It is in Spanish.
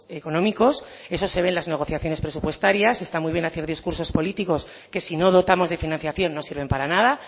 económicos eso se ve en las negociaciones presupuestarias está muy bien hacer discursos políticos que si no dotamos de financiación no sirven para nada